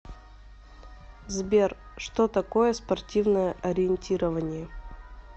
сбер что такое спортивное ориентирование